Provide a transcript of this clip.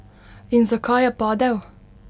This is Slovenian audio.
In zakaj je padel?